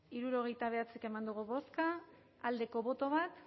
hirurogeita bederatzik eman dugu bozka aldeko boto bat